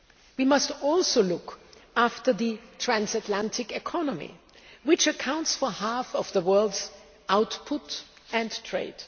We must also look after the transatlantic economy, which accounts for half of the world's output and trade.